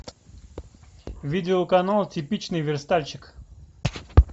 видео канал типичный верстальщик